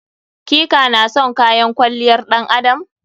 Ki/ka na son kayan kwalliyar ɗan adam?